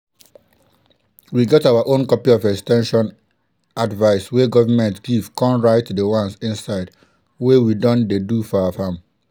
we get our own copy of ex ten sion advice wey government give con write di ones inside wey we don dey do for our farm.